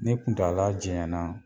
Ni kuntala janya na